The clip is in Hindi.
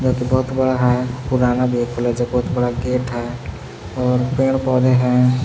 बहुत बड़ा है पुराना भी बहुत बड़ा गेट है और पेड़ पौधे हैं।